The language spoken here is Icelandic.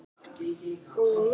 María: Já, frekar en út á land?